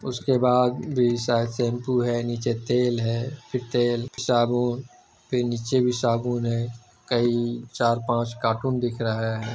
उसके बाद भी शायद शेम्पू है नीचे तेल है फिर तेल साबुन फिर नीचे भी साबुन है कई चार पाँच कार्टून दिख रहा है ।